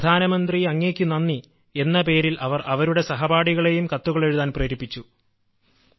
പ്രധാനമന്ത്രി അങ്ങേയ്ക്ക് നന്ദിഎന്ന പേരിൽ അവർ അവരുടെ സഹപാഠികളെയും കത്തുകൾ എഴുതാൻ പ്രേരിപ്പിച്ചു